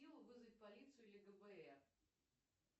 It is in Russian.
вызвать полицию или гбр